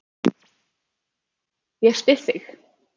Ég styð þig.